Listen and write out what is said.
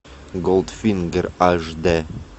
голдфингер аш д